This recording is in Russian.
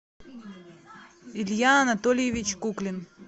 илья анатольевич куклин